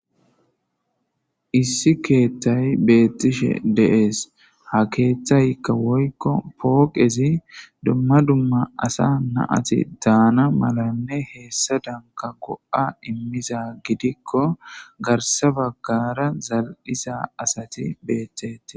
issi keeththay beettishe deees ha keeththaykka woykko pooqezi dumma dumma asa naati daana malanne heessa danka go7a immiza gidikko garsa baggara zal7isa asati beettetti